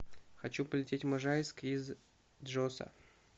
хочу полететь в можайск из джоса